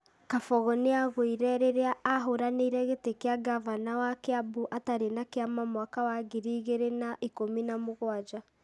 Kabogo nĩagũire rĩrĩa ahũranĩire gĩtĩ kĩa Ngavana wa kĩambu atarĩ na kĩama mwaka wa ngiri igĩrĩ na ikũmi na mũgwanja ,